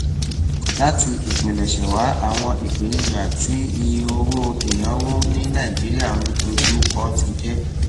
láti ìpilẹṣẹ wá àwọn ìpèníjà tí iye owó ìnáwó ní nàìjíríà ń ń dojú kọ ti jẹ